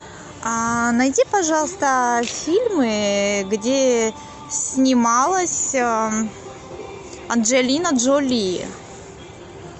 найди пожалуйста фильмы где снималась анджелина джоли